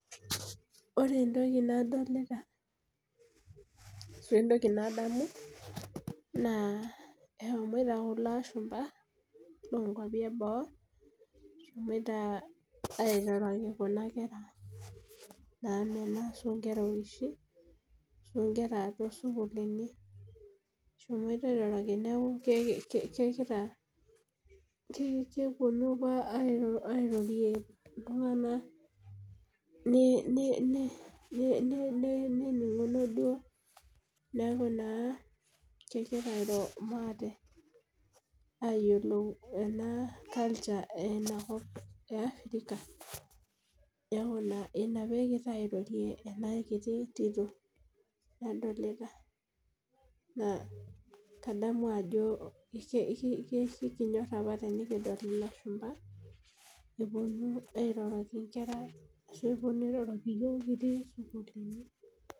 Ore entoki nadolita , entoki nadamu. naa eshomoito kula ashumpai loo nkuapi eboo, eshomoito airoroki Kuna kera, naa mena ashu nkera oloshi. too sukuulini, eshomoito airoroki neeku kegira. kepuonu apa airorie iltunganak, neninguno duoo. neeki naa kegira airo maate ayiolou ena culture tenakop e Africa. ija peegira airorie ena kiti Tito. nadolita, naa kadamu ajo. ekinyorr apa tenikidol ilashumba. epuonu airoroki nkera ashu epuonu airoroki iyiooki kitii sukuulini.